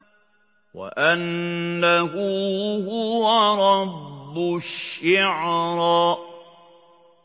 وَأَنَّهُ هُوَ رَبُّ الشِّعْرَىٰ